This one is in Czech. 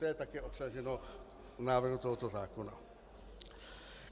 To je taky obsaženo v návrhu tohoto zákona.